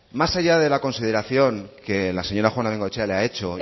más allá de la consideración que la señora juana de bengoechea le ha hecho